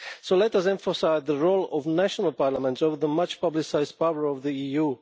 So let us emphasise the role of national parliaments over the much publicised power of the EU.